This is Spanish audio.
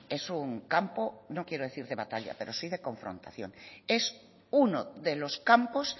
es un campo no quiero decir de batalla pero sí de confrontación es uno de los campos